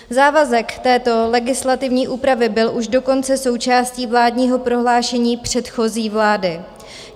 Závazek této legislativní úpravy byl už dokonce součástí vládního prohlášení předchozí vlády.